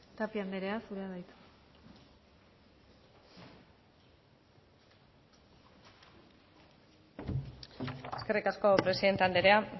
tapia andrea zurea da hitza eskerrik asko presidente andrea